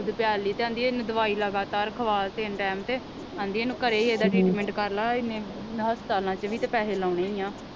ਦੁੱਧ ਪਿਆਲੀ ਤੇ ਆਂਦੀ ਇਹਨੂੰ ਦਵਾਈ ਲਗਾਤਾਰ ਖਵਾਲ ਤਿੰਨ ਟਾਇਮ ਤੇ ਆਂਦੀ ਇਹਨੂੰ ਘਰੇ ਈ ਇਹਦਾ ਟ੍ਰੀਟਮੈਂਟ ਕਰਲਾ ਇਹਨੇ ਹਸਪਤਾਲਾਂ ਚ ਵੀ ਤੇ ਪੈਸੇ ਲਾਉਣੇ ਈ ਆ।